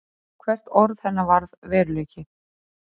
Hvert orð hennar varð veruleiki.